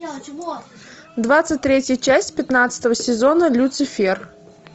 двадцать третья часть пятнадцатого сезона люцифер